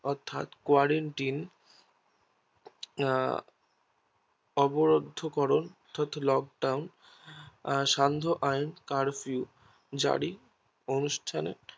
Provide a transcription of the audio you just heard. অর্থ্যাত Quarantine আহ অবরদ্ধ করন Lockdown স্যান্ধ আইন কারফিউ জারি অনুষ্ঠানে